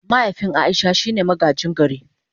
Mahaifin Aisha shine magaji gari.